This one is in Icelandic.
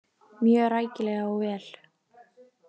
Mjög rækilega og vel.